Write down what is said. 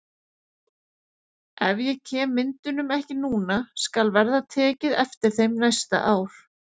Ef ég kem myndunum ekki núna skal verða tekið eftir þeim næsta ár.